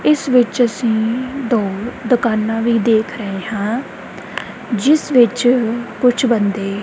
ਇਸ ਵਿੱਚ ਅਸੀਂ ਦੋ ਦੁਕਾਨਾਂ ਵੀ ਦੇਖ ਰਹੇ ਹਾਂ ਜਿਸ ਵਿੱਚ ਕੁਝ ਬੰਦੇ--